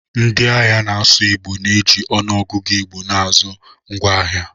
Ndị ahịa na-asụ Igbo na-eji ọnụọgụgụ Igbo na-azụ ngwaahịa.